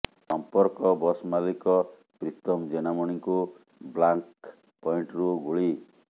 ସଂପର୍କ ବସ୍ ମାଲିକ ପ୍ରୀତମ ଜେନାମଣୀଙ୍କୁ ବ୍ଲାଙ୍କ ପଏଂଟରୁ ଗୁଳି